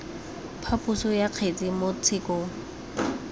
phaposo ya kgetse mo tshekong